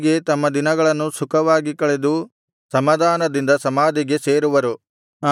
ಹೀಗೆ ತಮ್ಮ ದಿನಗಳನ್ನು ಸುಖವಾಗಿ ಕಳೆದು ಸಮಾಧಾನದಿಂದ ಸಮಾಧಿಗೆ ಸೇರುವರು